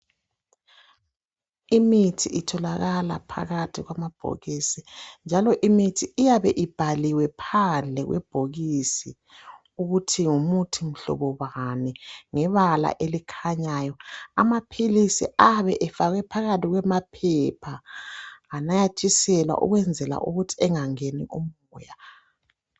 Imithi itholakala phakathi kwamabhokisi njalo imithi iyabe ibhaliwe phandle kwebhokisi ukuthi ngumuthi mhlobobani ngebala elikhanyayo. Amaphilisi abe efakwe phakathi kwemaphepha anathiselwa ukwenzela ukuthi engangeni umoya.